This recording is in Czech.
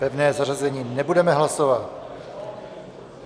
Pevné zařazení nebudeme hlasovat.